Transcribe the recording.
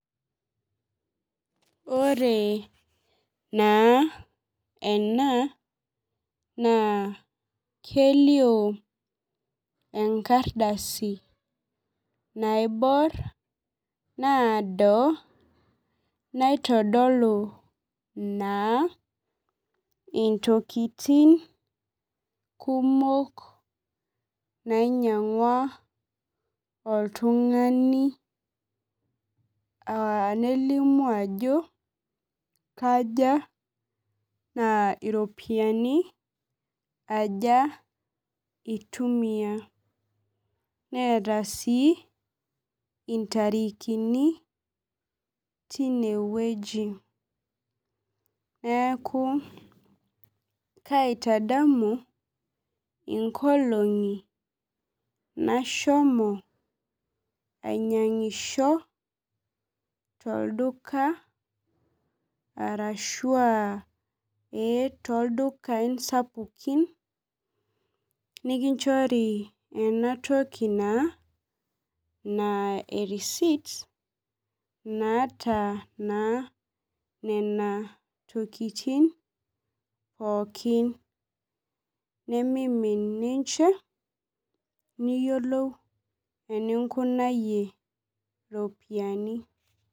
Ore naa ena, naa kelio enkardasi naibor, naado naitodolu naa intokiting kumok nainyang'ua oltung'ani, nelimu ajo kaja na iropiyiani aja itumia. Neeta si intarikini tinewueji. Neeku kaitadamu inkolong'i nashomo ainyang'isho tolduka arashua ee toldukai sapukin, nikinchori enatoki naa, naa erisit, naata naa nena tokiting pookin, nimimin ninche, niyiolou eninkunayie iropiyiani.